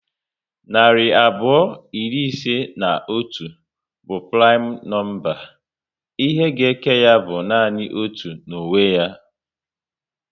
Narị abụọ iri ise na otu bụ primu nọmba. Ihe ga eke ya bụ nanị otu na onwe ya